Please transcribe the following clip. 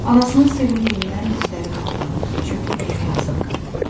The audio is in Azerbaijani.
Anasının sevincindən dizləri qatlandı, çökdü yerə yazıq qadın.